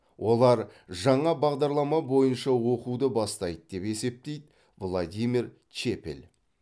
олар жаңа бағдарлама бойынша оқуды бастайды деп есептейді владимир чепель